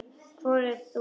Hvort þú mátt!